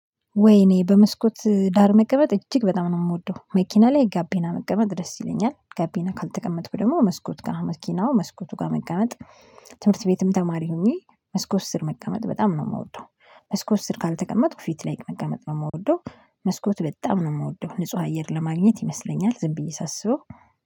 ወይኔ በመስኮት ዳር መቀመጥ እጅግ በጣም ነው የምወደው መኪና ላይ ጋቢና መቀመጥ ደስ ይለኛል ጋቢና ካልተቀመጥኩኝ ደግሞ መስኮት ጋር መስኪናው መስኮቱ ጋር መቀመጥ። ትምህርት ቤትም ተማሪ ሆኜ መስኮት ስር መቀመጥ በጣም ነው ምወደው። መስኮት ስር ካልተቀመጥኩ ፊት ላይ መቀመጥ ነው የምወደው። መስኮት በጣም ነው የምወደው ንጹህ አየር ለማግኘት ይመስለኛል ዝም ብዬ ሳስበው